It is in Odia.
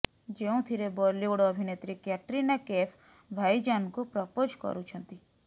ଯେଉଁଥିରେ ବଲିଉଡ୍ ଅଭିନେତ୍ରୀ କ୍ୟାଟ୍ରିନା କୈଫ୍ ଭାଇଜାନ୍ଙ୍କୁ ପ୍ରପୋଜ କରୁଛନ୍ତି